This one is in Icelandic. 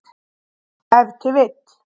Ef til vill.